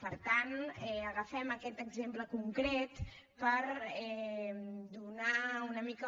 per tant agafem aquest exemple concret per donar una mica